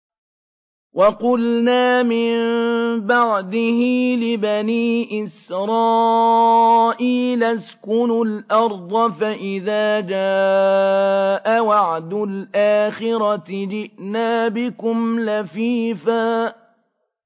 وَقُلْنَا مِن بَعْدِهِ لِبَنِي إِسْرَائِيلَ اسْكُنُوا الْأَرْضَ فَإِذَا جَاءَ وَعْدُ الْآخِرَةِ جِئْنَا بِكُمْ لَفِيفًا